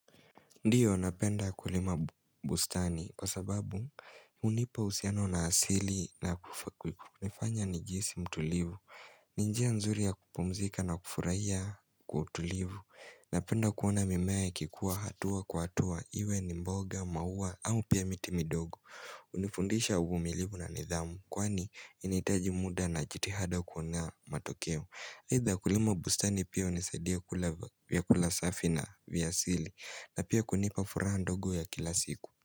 Ndiyo napenda kulima bustani kwa sababu hunipa husiano na asili na kufanya nijihisi mtulivu. Ni njia nzuri ya kupumzika na kufurahia kwa utulivu. Napenda kuona mimea ikikua hatua kwa hatua iwe ni mboga maua au pia miti midogo. Hunifundisha uvumilivu na nidhamu kwani inahitaji muda na jitihada kuona matokeo. Haitha kulima bustani pia hunisaidia kula vyakula safi na vya asili na pia kunipa furaha ndogo ya kila siku.